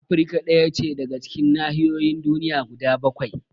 Afrika ɗaya ce daga cikin nahiyoyin duniya guda bakwai